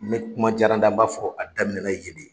Ne kuma jara n da, n b'a fɔ a daminɛna yen de.